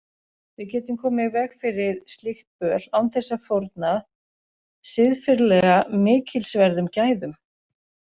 Við getum komið í veg fyrir slíkt böl án þess að fórna siðferðilega mikilsverðum gæðum.